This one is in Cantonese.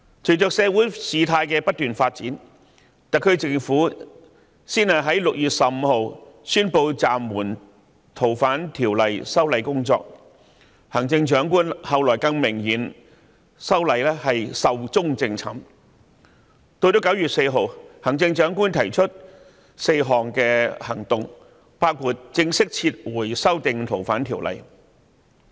隨着事態不斷發展，特區政府先在6月15日宣布暫緩《逃犯條例》的修例工作，行政長官後來更明言《條例草案》已經"壽終正寢"，其後再於9月4日提出4項行動，包括正式撤回對《逃犯條例》的修訂。